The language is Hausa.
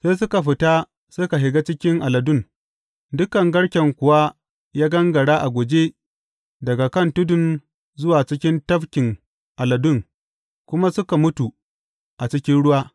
Sai suka fita suka shiga cikin aladun, dukan garken kuwa ya gangara a guje daga kan tudun zuwa cikin tafkin aladun kuma suka mutu a cikin ruwa.